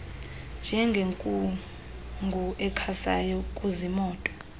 njengenkungu ekhasayo kuziimoto